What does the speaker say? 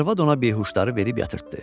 Arvad ona behuşları verib yatırtdı.